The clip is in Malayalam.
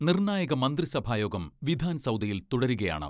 നിർണായക മന്ത്രിസഭായോഗം വിധാൻസൗദയിൽ തുടരുകയാണ്.